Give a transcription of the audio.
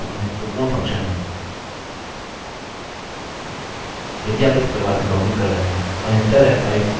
यह बहुत महत्वपूर्ण फंक्शन है यदि आप इस प्रकार से लॉगइन कर रहे हैं